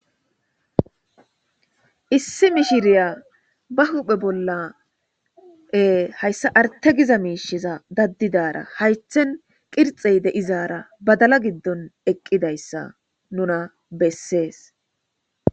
Issi mishshirya ba huphphe bolla hyssa arthe giza mishshiza daadizara hayththen qirxxe deizara badala giddon eqqidayssa nuna besses.